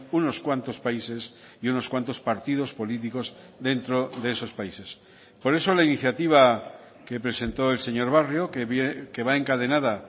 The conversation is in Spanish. unos cuantos países y unos cuantos partidos políticos dentro de esos países por eso la iniciativa que presentó el señor barrio que va encadenada